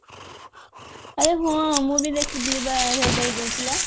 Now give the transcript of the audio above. ଆରେ ହଁ ମୁ ବି ଦେଖୁଥିଲି ବା advertise ଦଉଥିଲା